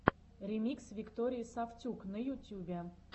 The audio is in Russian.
ремикс виктории сафтюк на ютюбе